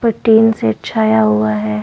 पर tin shed छाया हुआ है।